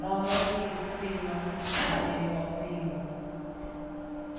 moro gi sing'o mane osing'o.